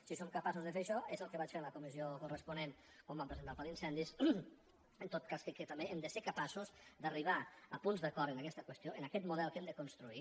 si som capaços de fer això és el que vaig fer en la comissió corres·ponent on vam presentar el pla d’incendis en tot cas crec que també hem de ser capaços d’arribar a punts d’acord en aquesta qüestió en aquest model que hem de construir